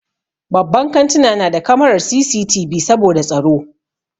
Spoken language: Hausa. Babban kantuna na da kamarar CCTV saboda tsaro.